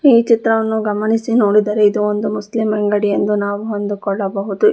ಈ ಚಿತ್ರವನ್ನು ಗಮನಿಸಿ ನೋಡಿದರೆ ಇದು ಒಂದು ಮುಸ್ಲಿಂ ಅಂಗಡಿ ಎಂದು ನಾವು ಅಂದುಕೊಳ್ಳಬಹುದು.